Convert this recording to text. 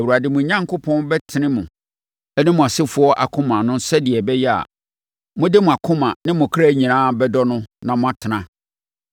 Awurade, mo Onyankopɔn, bɛtene mo ne mo asefoɔ akoma so sɛdeɛ ɛbɛyɛ a, mode mo akoma ne mo kra nyinaa bɛdɔ no na moatena.